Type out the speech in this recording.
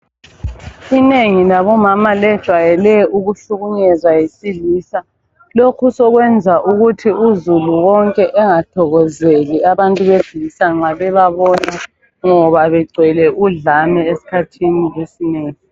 Inengi labomama lejwayele ukuhlukunyezwa yisilisa. Lokhu sekwenza ukuthi uzulu wonke engathokozeli abantu besilisa nxa bebabona ngoba begcwele udlame esikhathini esinengi